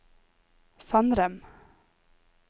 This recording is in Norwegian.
Fannrem